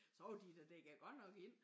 Så var de da dækket godt nok ind